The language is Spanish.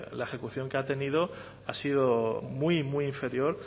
la ejecución que ha tenido ha sido muy muy inferior